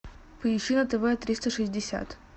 поищи на тв триста шестьдесят